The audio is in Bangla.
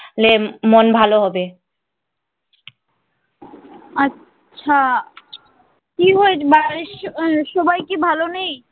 আচ্ছা কি হয়েছে বাড়ির সবাই কি ভালো নেই?